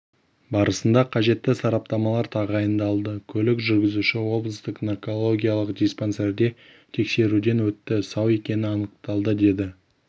барысында қажетті сараптамалар тағайындалды көлік жүргізушісі облыстық наркологиялық диспансерде тексеруден өтті сау екені анықталды деді